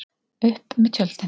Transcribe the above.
Upp með tjöldin!